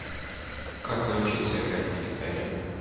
как научиться играть на гитаре